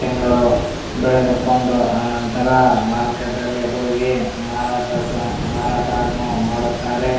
ತಿಂಗಳು ಬೆಳೆದುಕೊಂಡು ಆ ನಂತರ ಮಾರುಕಟ್ಟೆಯಲ್ಲಿ ಹೋಗಿ ಮಾರಾಟ ಸಹ್ ಮಾರಾಟವನ್ನು ಮಾಡುತ್ತಾರೆ.